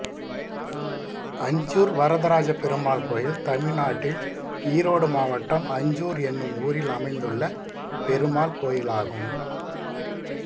அஞ்சூர் வரதராஜப் பெருமாள் கோயில் தமிழ்நாட்டில் ஈரோடு மாவட்டம் அஞ்சூர் என்னும் ஊரில் அமைந்துள்ள பெருமாள் கோயிலாகும்